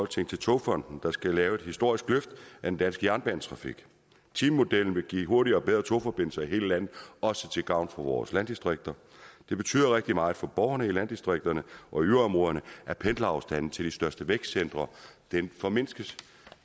til togfonden dk der skal lave et historisk løft af den danske jernbanetrafik timemodellen vil give hurtigere og bedre togforbindelser i hele landet også til gavn for vores landdistrikter det betyder rigtig meget for borgerne i landdistrikterne og yderområderne at pendlerafstanden til de største vækstcentre formindskes